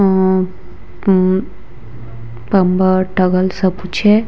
हम्म हम्म कंबल टॉवल सब कुछ है।